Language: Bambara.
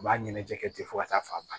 U b'a ɲɛnajɛ kɛ ten fo ka taa fɔ a